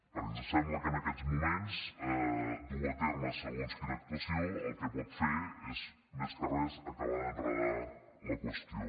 perquè ens sembla que en aquests moments dur a terme segons quina actuació el que pot fer és més que res acabar d’enredar la qüestió